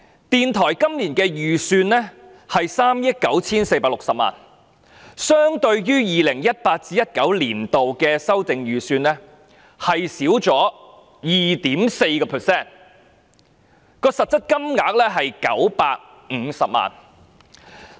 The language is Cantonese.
電台本年度的預算為3億 9,460 萬元，相對於 2018-2019 年度的修訂預算減少了 2.4%， 實質削減金額是950萬元。